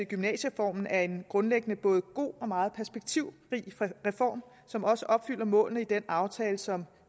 gymnasiereformen er en grundlæggende både god og meget perspektivrig reform som også opfylder målene i den aftale som